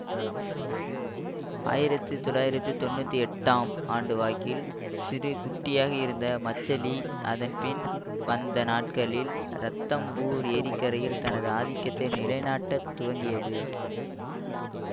ஆயிரத்தி தொளாயிரத்தி தொன்னுத்தி எட்டு ஆம் ஆண்டுவாக்கில் சிறு குட்டியாக இருந்த மச்சலி அதன்பின் வந்த நாட்களில் ரத்தம்பூர் ஏரிக்கரையில் தனது ஆதிக்கத்தை நிலைநாட்டத் துவங்கியது